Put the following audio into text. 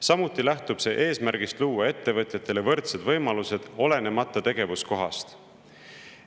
Samuti lähtub see eesmärgist luua ettevõtjatele võrdsed võimalused, olenemata tegevuskohast.